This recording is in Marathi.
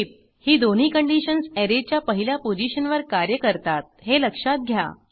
टीप ही दोन्ही फंक्शन्स ऍरेच्या पहिल्या पोझिशनवर कार्य करतात हे लक्षात घ्या